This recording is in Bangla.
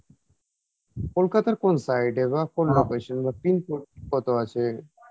কোলকাতার কোন side এ বা কোন বা pin code কতো আছে?